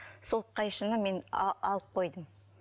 сол қайшыны мен алып қойдым